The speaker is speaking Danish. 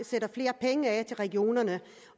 sætter flere penge af til regionerne